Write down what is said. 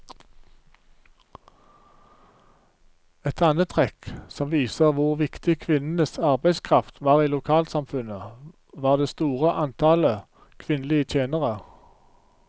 Et annet trekk som viser hvor viktig kvinnenes arbeidskraft var i lokalsamfunnet, var det store antallet kvinnelige tjenere.